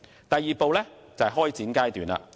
第二步為開展階段。